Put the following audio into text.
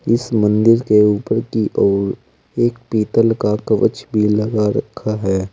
इस मंदिर के ऊपर की ओर एक पीतल का कवच भी लगा रखा है।